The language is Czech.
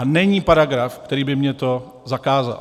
A není paragraf, který by mně to zakázal.